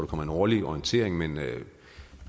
kommer en årlig orientering men